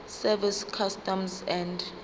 service customs and